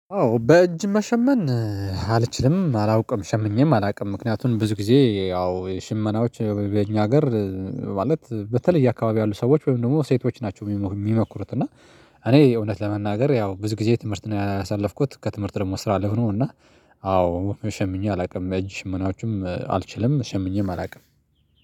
አዎ በእጅ መሸመን። አልችልም አላውቅም ሸምኜም አላውቅም ምክንያቱም ብዙ ጊዜ ያው ሽመናዎች በእኛ ሀገር። ማለት በተለያየ አካባቢ ያሉ ሰዎች ወይም ደግሞ ሴቶች ናቸው የሚሞክሩት። እና እኔ የእውነት ለመናገር ያው ብዙ ጊዜ ትምህርት ነው ያሳለፍኩት ከትምህርት ደግሞ ስራ ላይ ሆኖ ነው። እና አዎ ሸምኜ አላውቅም እጅ ሽመናዎችም አልችልም ሸምኜም አላውቅም